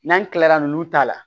N'an kilala nunnu ta la